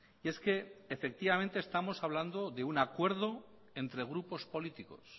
y es que efectivamente estamos hablando de un acuerdo entre grupos políticos